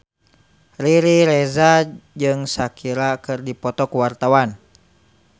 Riri Reza jeung Shakira keur dipoto ku wartawan